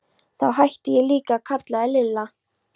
Þá hætti ég líka að kalla þig Lilla.